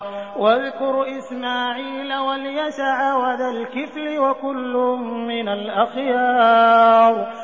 وَاذْكُرْ إِسْمَاعِيلَ وَالْيَسَعَ وَذَا الْكِفْلِ ۖ وَكُلٌّ مِّنَ الْأَخْيَارِ